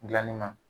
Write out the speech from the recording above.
Gilanni na